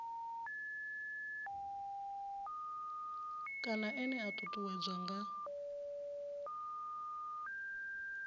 kana ene a ṱuṱuwedzwa nga